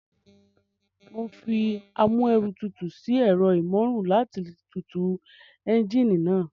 Mo fi amúẹ̀rọtutù sí ẹ̀rọ ìmóoru náà láti tutù ẹ́ńjíìnì náà